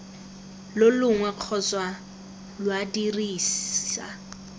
lo longwe kgotsa lwa dirisa